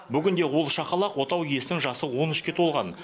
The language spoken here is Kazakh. бүгінде ол шақалақ отау иесінің жасы он үшке толған